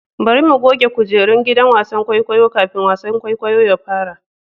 Bari mu goge kujerun gidan wasan kwaikwayo kafin wasan kwaikwayo ya fara.